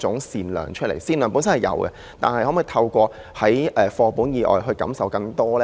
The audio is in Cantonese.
善良他們本身已有，但可否透過課本以外感受更多呢？